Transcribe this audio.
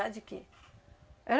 Era de quê?